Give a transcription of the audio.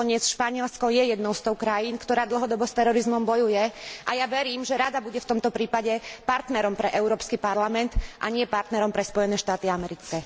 Nakoniec Španielsko je jednou z tých krajín, ktorá dlhodobo s terorizmom bojuje, a ja verím, že Rada bude v tomto prípade partnerom pre Európsky parlament, a nie partnerom pre Spojené štáty americké.